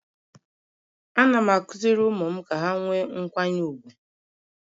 Ana m akụziri ụmụ m Ka ha nwee nkwanye ugwu..